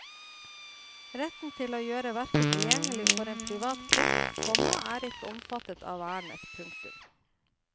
Retten til å gjøre verket tilgjengelig for en privat krets, komma er ikke omfattet av vernet. punktum